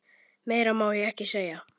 Meira má ég ekki segja.